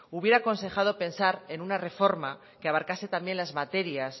hubiera aconsejado pensar en una reforma que abarcase también las materias